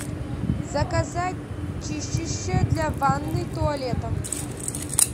заказать чистящее для ванны и туалета